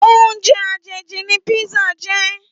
Óoùnjè àjéjí ni pizza jè